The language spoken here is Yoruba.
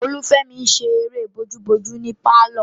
Olufemi n ṣe eré bojúbojú ní pálọ̀